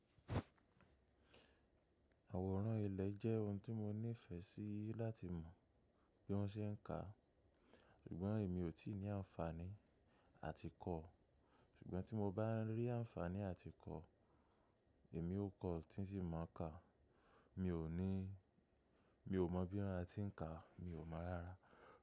Àwòrán ilẹ̀ jẹ́ ohun tí mo nífẹe sí láti mọ̀ bí wọ́n ṣe ń ka, ṣùgbọ́n èmi ò tíì ní àǹfàní àtìkọ. Ṣùgbọ́n tí mo bá rí àǹfààní àtìkọ, èmi ó kọ́ ọ́, tí sì mọ ka. Mi ò mọ bí won ti ń ka, mi ò mọ̀ rárá.